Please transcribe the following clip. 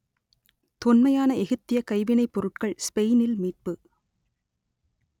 தொன்மையான எகிப்தியக் கைவினைப் பொருட்கள் ஸ்பெயினில் மீட்பு